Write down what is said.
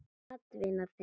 Það er atvinna þeirra.